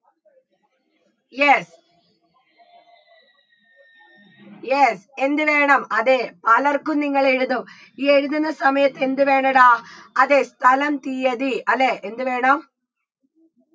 yes yes എന്ത് വേണം അതെ പലർക്കും നിങ്ങൾ എഴുതും ഈ എഴുതുന്ന സമയത്ത് എന്ത് വേണെടാ അതെ സ്ഥലം തീയ്യതി അല്ലേ എന്ത് വേണം